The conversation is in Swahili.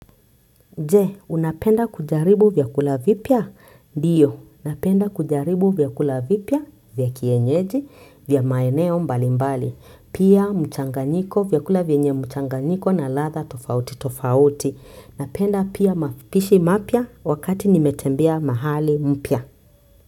Je, unapenda kujaribu vyakula vipya? Ndiyo, napenda kujaribu vyakula vipya, vya kienyeji, vya maeneo mbali mbali. Pia mchanganyiko, vyakula vyenye mchanganyiko na ladha tofauti tofauti. Napenda pia mapishi mapya wakati nimetembea mahali mpya.